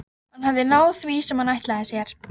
Hann hafði náð því sem hann ætlaði sér.